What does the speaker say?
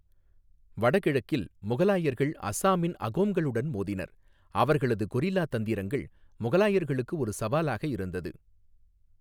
வடகிழக்கில், முகலாயர்கள் அசாமின் அகோம்களுடன் மோதினர், அவர்களது கொரில்லா தந்திரங்கள் முகலாயர்களுக்கு ஒரு சவாலாக இருந்தது.